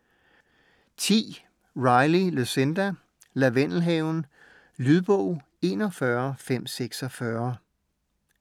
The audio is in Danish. Riley, Lucinda: Lavendelhaven Lydbog 41546